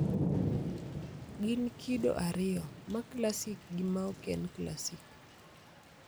Gin kido ariyo, ma classic gi ma oken classic